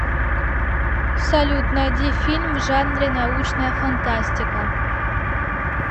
салют найди фильм в жанре научная фантастика